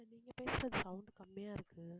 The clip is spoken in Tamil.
நீங்க பேசுறது sound கம்மியா இருக்கு